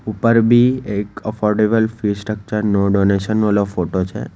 ઉપર બી એક અફોર્ડેબલ ફી સ્ટ્રક્ચર નું ડોનેશન વાલો ફોટો છે.